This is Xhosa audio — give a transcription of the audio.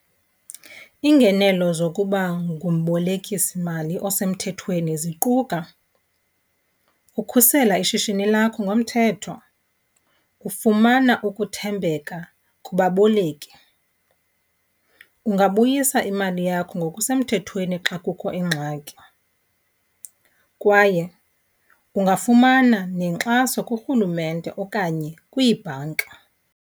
Iingenelo zokuba ngumbolekisimali osemthethweni ziquka ukhusela ishishini lakho ngomthetho, ufumana ukuthembeka kubaboleki. Ungabuyisa imali yakho ngokusemthethweni xa kukho ingxaki kwaye ungafumana nenkxaso kurhulumente okanye kwiibhanka.